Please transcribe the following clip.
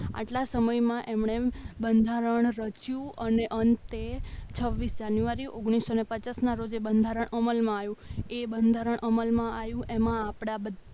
આટલા સમયમાં એમણે બંધારણ રચ્યું અને અંતે છવ્વીસ જાન્યુઆરી ઓગણીસો પચાસના રોજ બંધારણ અમલમાં આવ્યું તો એ બંધારણ અમલમાં આવ્યું એમાં આપણા બધા